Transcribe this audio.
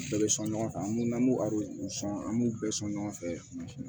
Bɛɛ bɛ sɔn ɲɔgɔn kan an b'o an b'u bɛɛ sɔn ɲɔgɔn fɛ